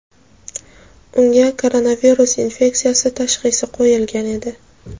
unga koronavirus infeksiyasi tashxisi qo‘yilgan edi.